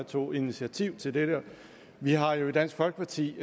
tog initiativ til dette vi har jo i dansk folkeparti